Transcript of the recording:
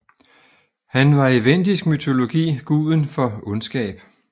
Han var i vendisk mytologi guden for ondskab